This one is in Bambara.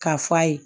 K'a f'a ye